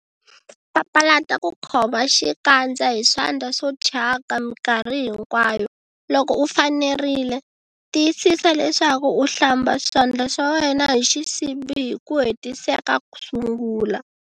Papalata ku khoma xikandza hi swandla swo thyaka mikarhi hinkwayo. Loko u fanerile, tiyisisa leswaku u hlamba swandla swa wena hi xisibi hi ku hetiseka kusungula.